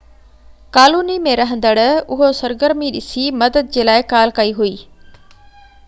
colony ۾ رهندڙ اهو سرگرمي ڏسي مدد جي لاءِ ڪال ڪئي هئي